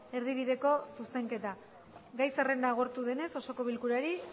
erdibideko zuzenketa gai zerrendako agortu denez osoko bilkurari